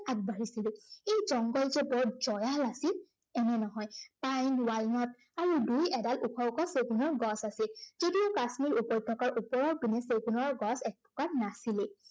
আগবাঢ়িছিলো। এই জংঘল যে বৰ জয়াল আছিল এনে নহয়। পাইন, ৱালনাট আৰু দুই এডাল ওখ ওখ চেগুনৰ গছ আছিল। যদিও কাশ্মীৰ উপত্য়কাৰ ওপৰৰ পিনে চেগুনৰ গছ এজোপাও নাছিলেই।